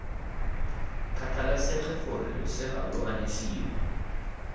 kgathalesege gore losea lo anyisiwa